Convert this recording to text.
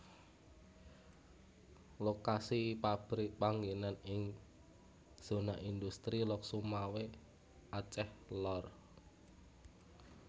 Lokasi pabrik panggenan ing zona industri Lhokseumawe Aceh Lor